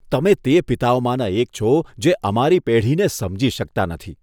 તમે તે પિતાઓમાંના એક છો જે અમારી પેઢીને સમજી શકતા નથી.